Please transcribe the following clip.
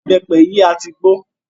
Ìbẹ́pẹ yìí a tí gbó.